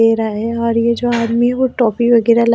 ले रहा है और ये जो आदमी है वो टॉपी वगैरह--